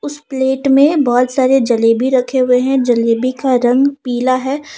उस प्लेट में बहुत सारे जलेबी रखे हुए हैं जलेबी का रंग पीला है।